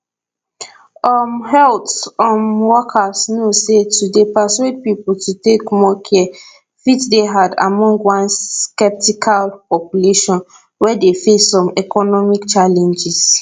um health um workers know say to dey persuade pipo to take more care fit dey hard among one sceptical population wey dey face some economic challenges